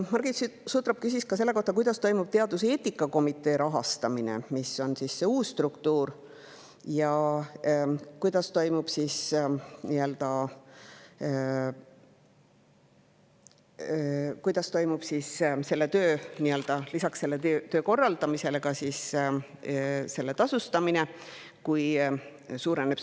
Margit Sutrop küsis ka selle kohta, kuidas toimub teaduseetika komitee rahastamine – see on see uus struktuur – ja kuidas toimub lisaks selle töö korraldamisele selle tasustamine, kui koormus suureneb.